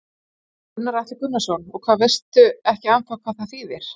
Gunnar Atli Gunnarsson: Og veist ekki ennþá hvað það þýðir?